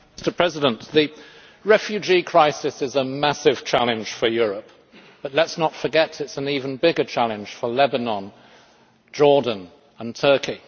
Mr President, the refugee crisis is a massive challenge for Europe, but let us not forget that it is an even bigger challenge for Lebanon, Jordan and Turkey.